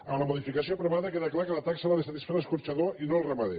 en la modificació aprovada queda clar que la taxa l’ha de satisfer l’escorxador i no el ramader